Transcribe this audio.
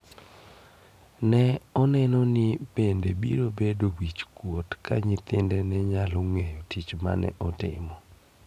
Ne oneno ni bende biro bedo wich kuot ka nyithinde ne nyalo ng'eyo tich mane otimo.